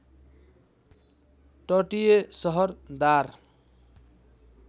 तटीय सहर दार